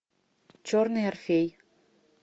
черный орфей